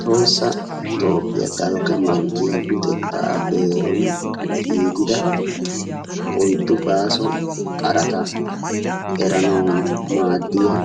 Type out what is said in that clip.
Tohossa toophiya dalgga manttiya luxettaa beeruwan giigida oyiddu baaso qarata eranawu maaddiya